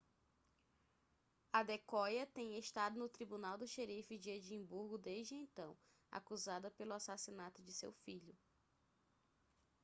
adekoya tem estado no tribunal do xerife de edimburgo desde então acusada pelo assassinato de seu filho